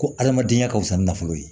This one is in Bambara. Ko adamadenya ka fisa nafolo ye